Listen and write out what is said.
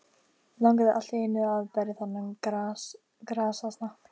Langaði allt í einu til að berja þennan grasasna.